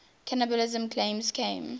cannibalism claims came